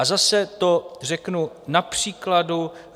A zase to řeknu na příkladu.